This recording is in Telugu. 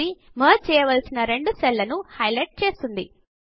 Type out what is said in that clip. ఇది మెర్జ్ చేయవలసిన రెండు సెల్ లను హైలైట్ చేస్తుంది